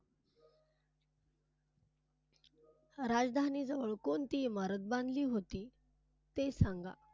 राजधानी जवळ कोणती इमारत बांधली होती ते सांगा.